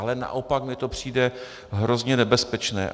Ale naopak mi to přijde hrozně nebezpečné.